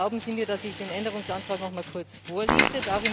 Erlauben Sie mir, dass ich den Änderungsantrag noch mal kurz vorlese.